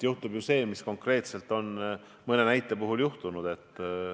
Juhtub ju see, mis konkreetselt mõne näite puhul on juhtunud.